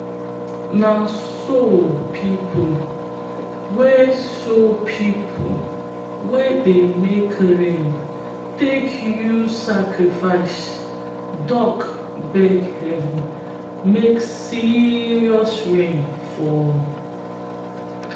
na so pipo wey so pipo wey dey make rain take use sacrifice duck beg heaven make serious rain fall.